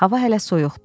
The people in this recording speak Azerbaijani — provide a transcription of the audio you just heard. Hava hələ soyuqdur.